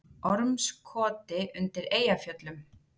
Ormskoti undir Eyjafjöllum.